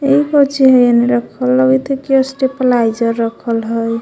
एगो चैन रखल लगत हय की स्टेप्लाइजर रखल हइ।